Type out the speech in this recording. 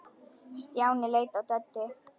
Stjáni leit á Döddu.